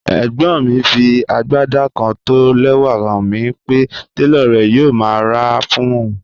Ẹ̀gbọ́n mi fí agbádá kán tó ó lẹ́wà hàn mi pé tẹlọ̀ rè̩ yòò má rá a fún ọun.